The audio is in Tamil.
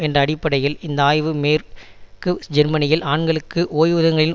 என்ற அடிப்படையில் இந்த ஆய்வு மேற்கு ஜெர்மனியில் ஆண்களுக்கு ஓய்வூதியங்களில்